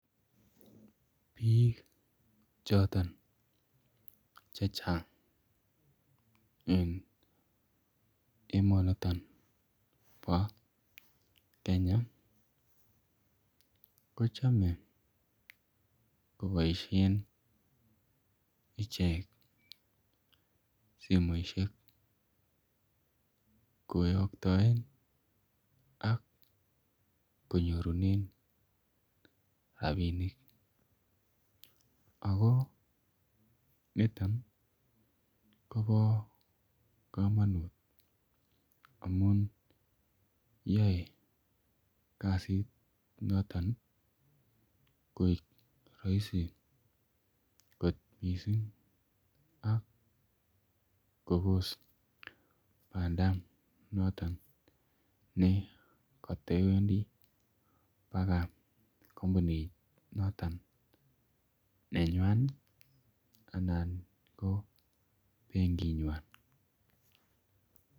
Biik chotoon che chaang eng emani nitoon bo kenya kochame kobaisheen icheek simoisiek koyaktaen ak kinyoruneen rapinik ako nitoon kobaa kamanuut amuun yae kasiit notoon koek Rahisi koot missing ak Kobos banda notoon ne katewendi akoi kampunit notoon ne nywaany ii anan ko benkiit nywaany.